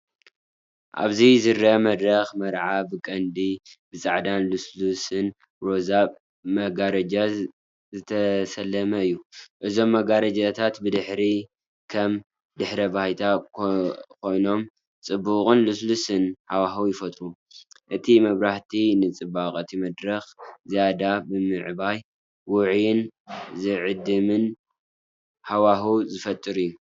ኣብዚ ዝርአ መድረኽ መርዓ ብቐንዱ ብጻዕዳን ልስሉስን ሮዛን ብመጋረጃታት ዝተሰለመ እዩ። እዞም መጋረጃታት ብድሕሪት ከም ድሕረ ባይታ ኮይኖም ጽቡቕን ልስሉስን ሃዋህው ይፈጥሩ። እቲ መብራህቲ ንጽባቐ እቲ መድረኽ ዝያዳ ብምዕባይ ውዑይን ዝዕድምን ሃዋህው ዝፈጥር እዩ።